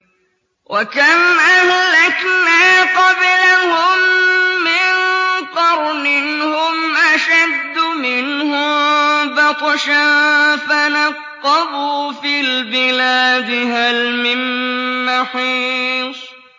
وَكَمْ أَهْلَكْنَا قَبْلَهُم مِّن قَرْنٍ هُمْ أَشَدُّ مِنْهُم بَطْشًا فَنَقَّبُوا فِي الْبِلَادِ هَلْ مِن مَّحِيصٍ